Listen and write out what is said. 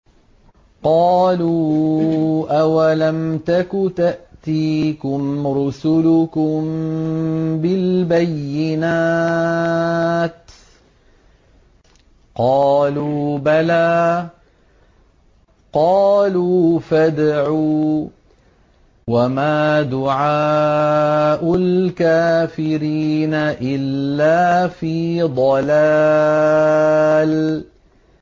قَالُوا أَوَلَمْ تَكُ تَأْتِيكُمْ رُسُلُكُم بِالْبَيِّنَاتِ ۖ قَالُوا بَلَىٰ ۚ قَالُوا فَادْعُوا ۗ وَمَا دُعَاءُ الْكَافِرِينَ إِلَّا فِي ضَلَالٍ